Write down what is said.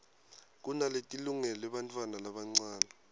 kunaletilungele bantfwana labancane